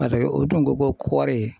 o dun ko ko kɔri.